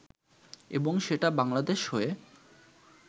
এবং সেটা বাংলাদেশ হয়ে